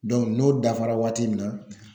n'o dafara waati min na